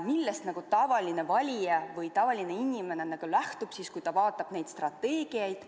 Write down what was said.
Millest tavaline valija või tavaline inimene lähtub, kui ta vaatab neid dokumente?